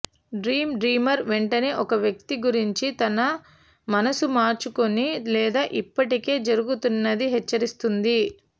dream dreamer వెంటనే ఒక వ్యక్తి గురించి తన మనసు మార్చుకుని లేదా ఇప్పటికే జరుగుతున్నది హెచ్చరిస్తుంది